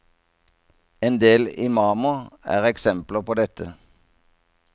Endel imamer er eksempler på dette.